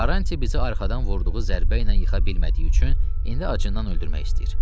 Karanti bizi arxadan vurduğu zərbə ilə yıxa bilmədiyi üçün indi acından öldürmək istəyir.